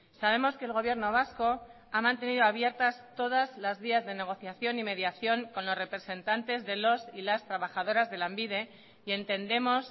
sabemos que el gobierno vasco ha mantenido abiertas todas las vías de negociación y mediación con los representantes de los y las trabajadoras de lanbide y entendemos